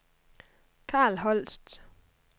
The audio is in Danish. Karl Holst